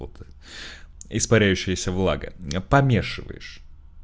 это испаряющейся влага помешиваешь